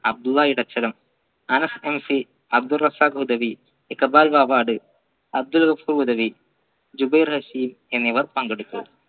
Abdullahi Anas NC Abdurazak Hudawi Iqbal പാവാട് അബ്ദുൽ ഹുദവി ജുബൈർഷി എന്നിവർ പങ്കെടുത്തു